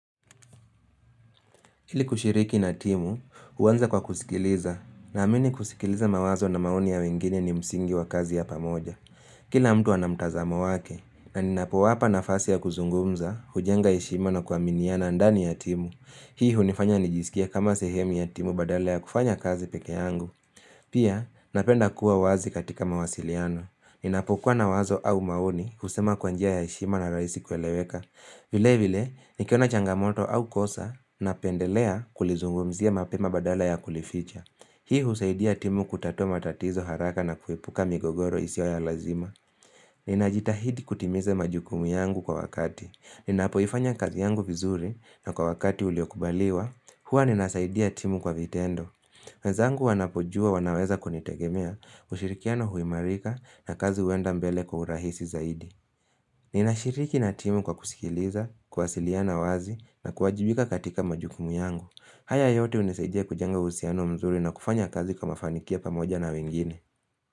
Ili kushiriki na timu, huanza kwa kusikiliza, na amini kusikiliza mawazo na maoni ya wengine ni msingi wa kazi ya pamoja. Kila mtu ana mtazamo wake, na ninapowapa nafasi ya kuzungumza, hujenga heshima na kuaminiana ndani ya timu. Hii hunifanya nijisikie kama sehemu ya timu badala ya kufanya kazi peke yangu. Pia, napenda kuwa wazi katika mawasiliano. Ninapokua na wazo au maoni, husema kwa njia ya heshima na rahisi kueleweka. Vile vile, nikiona changamoto au kosa napendelea kulizungumzia mapema badala ya kulificha. Hii husaidia timu kutatua matatizo haraka na kuepuka migogoro isiyo ya lazima. Ninajitahidi kutimiza majukumu yangu kwa wakati. Ninapoifanya kazi yangu vizuri na kwa wakati uliokubaliwa, hua ninasaidia timu kwa vitendo. Wenzangu wanapojua wanaweza kunitegemea, ushirikiano huimarika na kazi huenda mbele kwa urahisi zaidi. Ninashiriki na timu kwa kusikiliza, kuwasiliana wazi na kuwajibika katika majukumu yangu. Haya yote hunisaidia kujenga uhusiano mzuri na kufanya kazi kwa mafanikio pamoja na wengine.